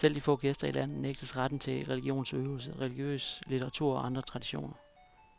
Selv de få gæster i landet nægtes retten til religionsudøvelse, religiøs litteratur og anderledes traditioner.